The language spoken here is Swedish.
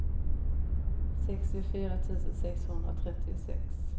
sextiofyra tusen sexhundratrettiosex